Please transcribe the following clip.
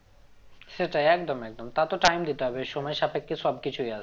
সেটাই একদম একদম তা তো time দিতে হবে সময় সাপেক্ষ সব কিছুই আসবে